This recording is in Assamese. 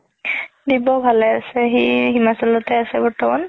দিব্য ভালে আছে সি হিমাচলতে আছে বৰ্তমান